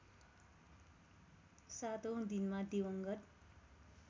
सातौँ दिनमा दिवंगत